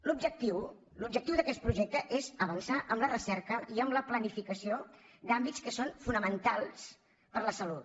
l’objectiu l’objectiu d’aquest projecte és avançar en la recerca i en la planificació d’àmbits que són fonamentals per a la salut